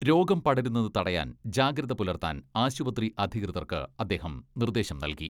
രോഗം പടരുന്നത് തടയാൻ ജാഗ്രത പുലർത്താൻ ആശുപത്രി അധികൃതർക്ക് അദ്ദേഹം നിർദ്ദേശം നൽകി.